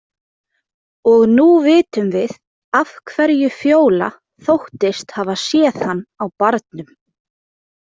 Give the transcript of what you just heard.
Og nú vitum við af hverju Fjóla þóttist hafa séð hann á barnum.